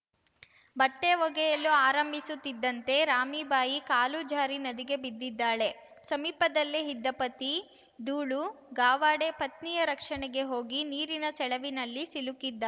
ಬಟ್ಟೆಒಗೆಯಲು ಆರಂಭಿಸುತ್ತಿದ್ದಂತೆ ರಾಮೀಬಾಯಿ ಕಾಲು ಜಾರಿ ನದಿಗೆ ಬಿದ್ದಿದ್ದಾಳೆ ಸಮೀಪದಲ್ಲೇ ಇದ್ದ ಪತಿ ದೂಳು ಗಾವಡೆ ಪತ್ನಿಯ ರಕ್ಷಣೆಗೆ ಹೋಗಿ ನೀರಿನ ಸೆಳವಿನಲ್ಲಿ ಸಿಲುಕಿದ್ದಾ